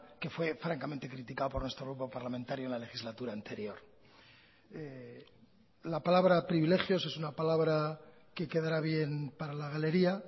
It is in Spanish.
que fue francamente criticado por nuestro grupo parlamentario en la legislatura anterior la palabra privilegios es una palabra que quedará bien para la galería